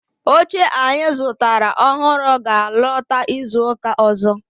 Oche anyi zutara ohuru ga alota izuka ozo